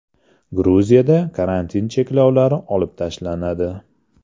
Gruziyada karantin cheklovlari olib tashlanadi.